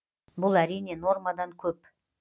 бұл әрине нормадан көп